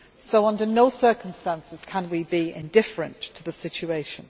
So under no circumstances can we be indifferent to the situation.